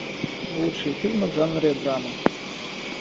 лучшие фильмы в жанре драма